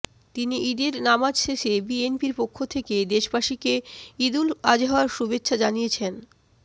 তিনি ঈদের নামাজ শেষে বিএনপির পক্ষ থেকে দেশবাসীকে ঈদুল আজহার শুভেচ্ছা জানিয়েছেন